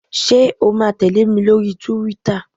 Ṣé o ma tẹ̀lé mi lórí túwítà?